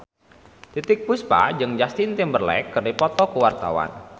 Titiek Puspa jeung Justin Timberlake keur dipoto ku wartawan